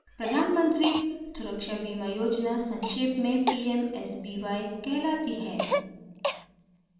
प्रधान मंत्री सुरक्षा बीमा योजना संक्षेप में pmsby कहलाती है